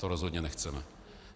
To rozhodně nechceme.